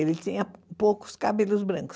Ele tinha poucos cabelos brancos.